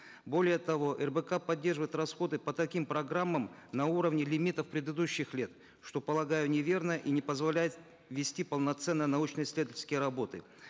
более того рбк поддерживает расходы по таким программам на уровне лимитов предыдущих лет что полагаю неверно и не позволяет вести полноценно научно исследовательские работы